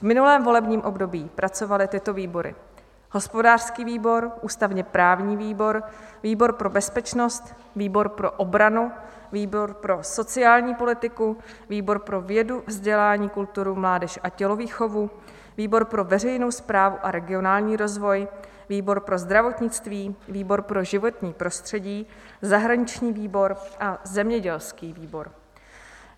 V minulém volebním období pracovaly tyto výbory: hospodářský výbor, ústavně-právní výbor, výbor pro bezpečnost, výbor pro obranu, výbor pro sociální politiku, výbor pro vědu, vzdělání, kulturu, mládež a tělovýchovu, výbor pro veřejnou správu a regionální rozvoj, výbor pro zdravotnictví, výbor pro životní prostředí, zahraniční výbor a zemědělský výbor.